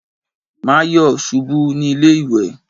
Má yọ̀ ṣubú ní ilé ìwẹ̀.